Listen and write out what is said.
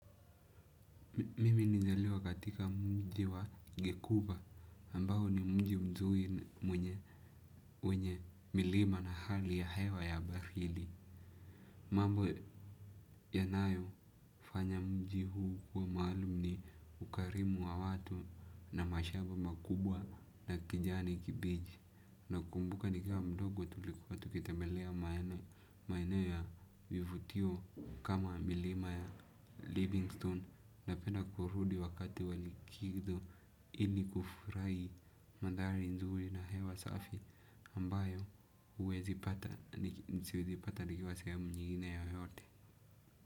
Mimi nilizaliwa katika mji wa gekuba ambao ni mji mzuri mwenye wenye milima na hali ya hewa ya baridi. Mambo yanayofanya mji huu kuwa maalum ni ukarimu wa watu na mashamba makubwa na kijani kibiji. Nakumbuka nikiwa mdogo tulikuwa tukitembelea maene ya vivutio kama milima ya Livingstone. Napenda kurudi wakati wa likizo ilikufurahi mandhari nzuri na hewa safi ambayo huwezipata siwezi pata nikiwa sehemu nyingine yoyote.